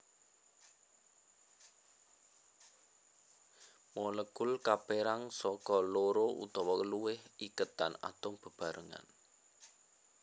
Molekul kapérang saka loro utawa luwih iketan atom bebarengan